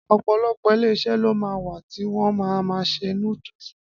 Ọ̀pọ̀lọpọ̀ Iléeṣẹ́ ló ma wà tí wọ́n ma ma ṣe núdúsì